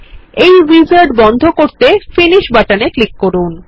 এই উইজার্ড বন্ধ করতে ফিনিশ বাটনে ক্লিক করুন